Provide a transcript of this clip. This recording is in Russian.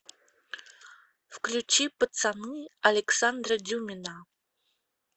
включи пацаны александра дюмина